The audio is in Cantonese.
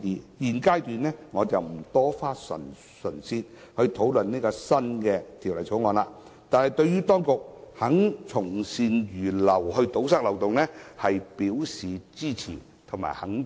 我在現階段不會就《第2號條例草案》作詳細討論，但對於當局肯從善如流堵塞漏洞，我表示支持和肯定。